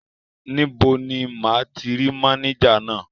Níbo ni máa ti rí mánéjà náà?